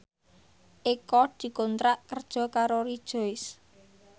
Eko dikontrak kerja karo Rejoice